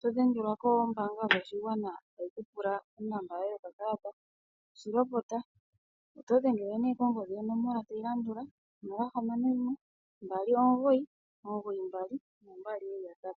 todhengelwa kombaanga yopashigwana tayi ku pula onomola yoye yokakalata. Shi lopota Oto dhengele nee kongodhi yonomola tayi landula 0612992222.